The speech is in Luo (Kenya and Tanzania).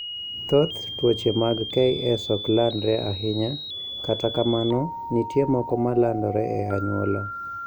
Thoth tuoche mag KS ok landre ahinya, kata kamano, nitie moko ma landore e anyuola.